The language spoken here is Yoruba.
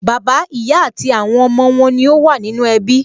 Bàbá, ìyá àti àwọn ọmọ wọn ní ó wà nínú ẹbí